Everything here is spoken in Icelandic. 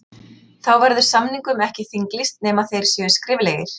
Þá verður samningum ekki þinglýst nema þeir séu skriflegir.